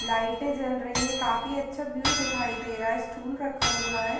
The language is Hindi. लाइटे जल रही हैं। काफी अच्छा व्यू दिखाई दे रहा है। स्टूल रखा हुआ है।